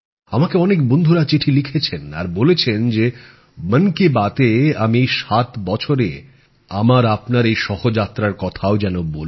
আমাকে অনেক বন্ধুরা চিঠি লিখেছেন আর বলেছেন যে মন কি বাত এ আমি এই ৭ বছরে আমার আপনার এই সহযাত্রার কথাও যেন বলি